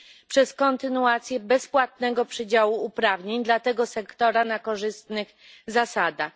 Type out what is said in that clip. przez kontynuację bezpłatnego przydziału uprawnień dla tego sektora na korzystnych zasadach.